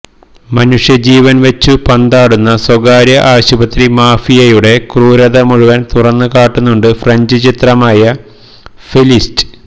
മനുഷ്യജീവൻ വച്ചു പന്താടുന്ന സ്വകാര്യ ആശുപത്രി മാഫിയയുടെ ക്രൂരത മുഴുവൻ തുറന്നുകാട്ടുന്നുണ്ട് ഫ്രഞ്ച് ചിത്രമായ ഫെലിസിറ്റ്